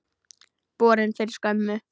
Borin fyrir skömmu.